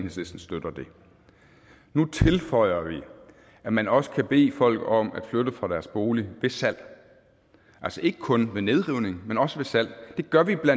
nu tilføjer vi at man også kan bede folk om at flytte fra deres bolig ved salg altså ikke kun ved nedrivning men også ved salg det gør vi bla